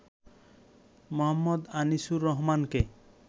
মো. আনিসুর রহমানকে।